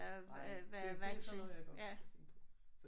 Nej men det det er sådan noget jeg godt kan lide